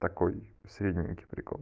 такой средненький прикол